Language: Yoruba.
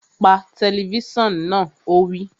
Pa tẹlifísàn náà! Ó wí